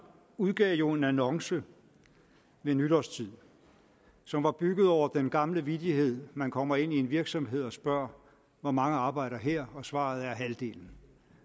udgav jo en annonce ved nytårstid som var bygget over den gamle vittighed man kommer ind i en virksomhed og spørger hvor mange arbejder her og svaret er halvdelen